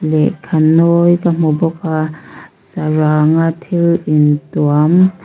lehkha nawi ka hmu bawk a saranga thil in tuam--